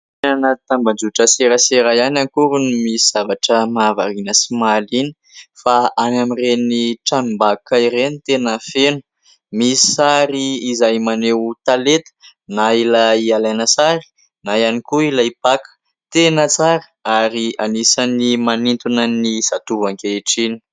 Tsy any anaty tambazotran-tserasera ihany akory no misy zavatra mahavariana sy mahaliana, fa any amin'ireny tranombakoka ireny tena feno. Misy sary izay maneho talenta na ilay alaina sary, na ihany koa ilay mpaka. Tena tsara ary anisan'ny manintona ny zatovo ankehitriny.